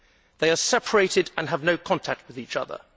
They are separated and have no contact with each other.